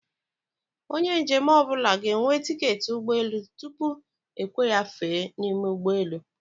Onye njem ọnwụna g'enwe tiketi ụgbọ elù tupu ekwe ya fèè niime ụgbọ elù